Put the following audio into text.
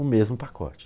O mesmo pacote.